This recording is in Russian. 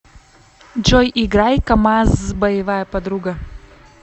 джой играй камазз боевая подруга